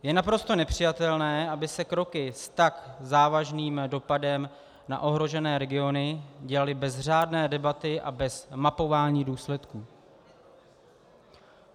Je naprosto nepřijatelné, aby se kroky s tak závažným dopadem na ohrožené regiony dělaly bez řádné debaty a bez mapování důsledků.